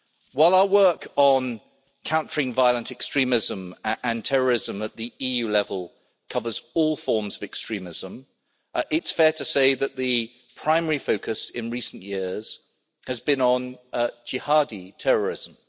While our work on countering violent extremism and terrorism at EU level covers all forms of extremism, it's fair to say that the primary focus in recent years has been on jihadi terrorism.